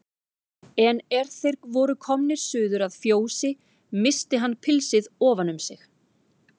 En er þeir voru komnir suður að fjósi missti hann pilsið ofan um sig.